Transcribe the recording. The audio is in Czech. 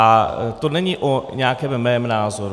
A to není o nějakém mém názoru.